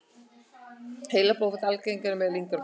Heilablóðfall algengara meðal yngra fólks